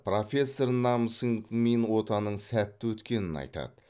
профессор нам сынг мин отаның сәтті өткенін айтады